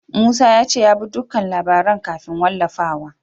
Musa ya ce ya bi dukkan labaran kafin wallafawa.